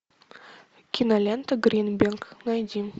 кинолента гринберг найди